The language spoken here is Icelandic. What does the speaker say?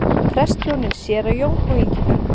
Prestshjónin séra Jón og Ingibjörg